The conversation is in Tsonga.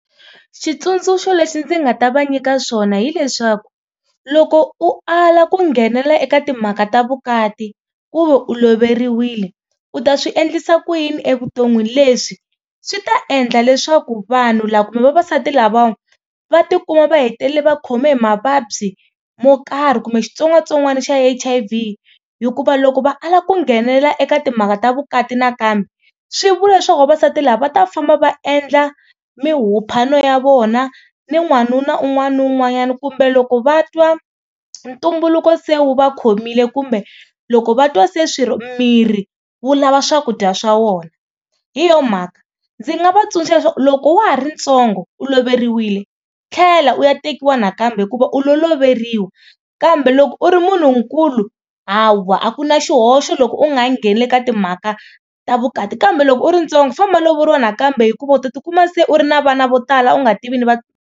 Xitsundzuxo lexi ndzi nga ta va nyika swona hileswaku loko u ala ku nghenela eka timhaka ta vukati ku ve u loveriwile u ta swi endlisa ku yini evuton'wini leswi swi ta endla leswaku vanhu lava kumbe vavasati lavawa va tikuma va hetelela va khome hi mavabyi mo karhi kumbe xitsongwatsongwana xa H_I_V hikuva loko va ala ku nghenelela eka timhaka ta vukati nakambe swi vula leswaku vavasati lava va ta famba va endla ya vona ni n'wanuna un'wana ni un'wanyana kumbe loko va twa ntumbuluko se wu va khomile kumbe loko va twa se swirho miri wu lava swakudya swa vona. Hi yona mhaka ndzi nga va tsundzuxa leswaku loko wa ha ri ntsongo u loveriwile tlhela u ya tekiwa nakambe hikuva u lo loveriwa kambe loko u ri munhunkulu ha wa a ku na xihoxo loko u nga ha ngheni le ka timhaka ta vukati kambe loko u ri ntsongo famba lovoriwa nakambe hikuva u ta tikuma se u ri na vana vo tala u nga tivi ni .